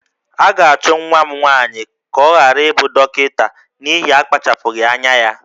A ga-achụ nwa m nwaanyị ka ọ ghara ịbụ dọkịta n'ihi akpachapụghị anya ya